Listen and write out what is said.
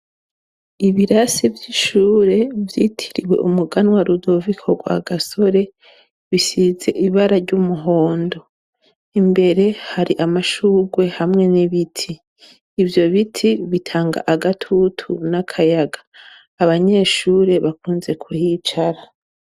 Ibirasi vy'ishure vyitiriwe umuganwa Rudoviko Rwagasore bisize ibara ry'umuhondo imbere hari amashurwe hamwe n'ibiti. Ivyo biti bitanga agatutu n'akayaga, abanyeshure bakunze kuhicara.